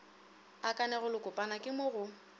a kanegelokopana ke mo go